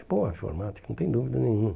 É boa a informática, não tem dúvida nenhuma.